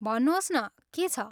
भन्नुहोस् न, के छ?